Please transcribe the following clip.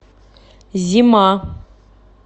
зима